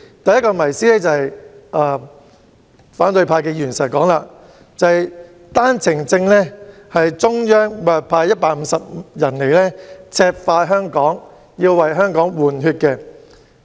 第一個謎思，是反對派議員經常說的，推行單程證措施是因為中央每天要派150人來赤化香港，為香港"換血"。